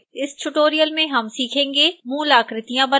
इस tutorial में हम सीखेंगे